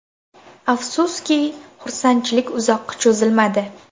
Afsuski, xursandchilik uzoqqa cho‘zilmadi.